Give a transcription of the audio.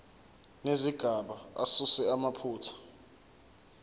nezigaba asuse amaphutha